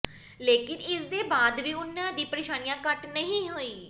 ਲੇਕਿਨ ਇਸਦੇ ਬਾਅਦ ਵੀ ਉਨ੍ਹਾਂ ਦੀ ਪਰੇਸ਼ਾਨੀਆਂ ਘੱਟ ਨਹੀਂ ਹੋਈ